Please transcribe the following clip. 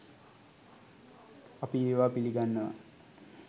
අපි ඒවා පිලිගන්නවා